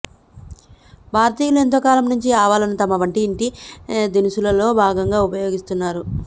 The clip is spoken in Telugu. భారతీయులు ఎంతో కాలం నుంచి ఆవాలను తమ వంటి ఇంటి దినుసుల్లో భాగంగా ఉపయోగిస్తున్నారు